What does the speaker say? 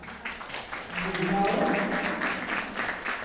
Budalen